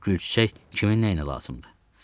Öləndən sonra gül-çiçək kimə nəyinə lazımdır?